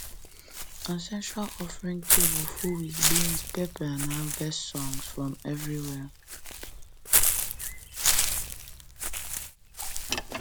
ancestral offering table full with beans pepper and harvest songs from everywhere